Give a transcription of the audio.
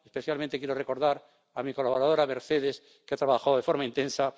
Especialmente quiero recordar a mi colaboradora, Mercedes, que trabajó de forma intensa.